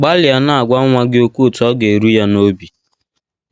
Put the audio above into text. Gbalịa na - agwa nwa gị okwu otú ọ ga - eru ya n’obi